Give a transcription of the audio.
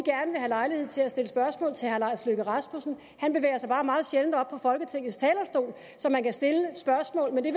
have lejlighed til at stille spørgsmål til herre lars løkke rasmussen han bevæger sig bare meget sjældent op på folketingets talerstol så man kan stille spørgsmål men det